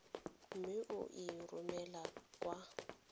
mme o e romele kwa